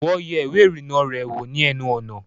Wọ́n yẹ ìwẹ́ ìrìnnà rẹ̀ wò ni ẹnu ọ̀nà